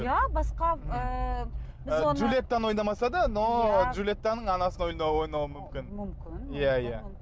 иә басқа ы біз оны джульеттаны ойнамаса да но джульеттаның анасын ойнауы мүмкін мүмкін иә иә